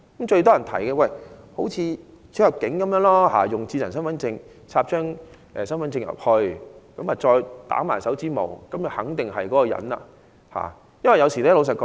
最多人提議仿效出入境時的做法，將智能身份證插入讀卡機內及印手指模，以確認一個人的身份。